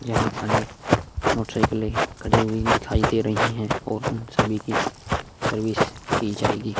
यहाँ अनेक मोटरसाइकिले खड़ी हुई दिखाई दे रही है और उन सभी की सर्विस की जाएगी।